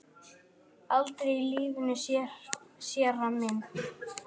Aldrei í lífinu, séra minn.